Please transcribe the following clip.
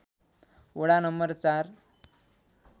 वडा नम्बर ४